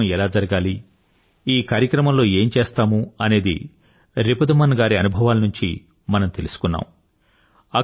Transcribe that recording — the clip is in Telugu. ఈ కార్యక్రమం ఎలా జరగాలి ఈ కార్యక్రమంలో ఏం చేస్తాము అనేది రిపుదమన్ గారి అనుభవాల నుండి మనం తెలుసుకున్నాము